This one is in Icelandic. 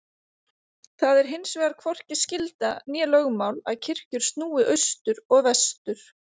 Það er hinsvegar hvorki skylda né lögmál að kirkjur snúi austur og vestur.